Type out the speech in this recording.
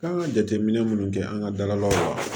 Kan ka jateminɛ minnu kɛ an ka dalaw la